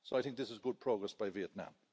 So I think this is good progress by Vietnam.